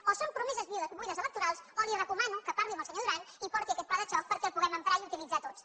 o són promeses buides electorals o li recomano que parli amb el senyor duran i porti aquest pla de xoc perquè el puguem emprar i utilitzar tots